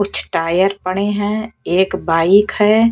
कुछ टायर पड़े हैं एक बाइक है।